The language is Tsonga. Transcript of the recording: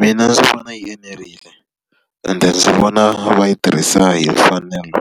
Mina ndzi vona yi enerile ende ndzi vona va yi tirhisa hi mfanelo